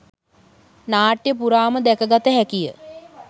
නාට්‍ය පුරාම දැක ගත හැකිය.